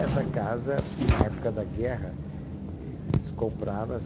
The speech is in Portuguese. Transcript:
Essa casa, na época da guerra, el eles compraram essa